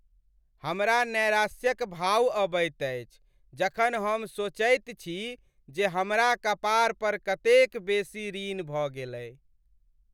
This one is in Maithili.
हमरा नैराश्य क भाव अबैत अछि जखन हम सोचैत छी जे हमरा कपार पर कतेक बेसी ऋण भऽ गेलय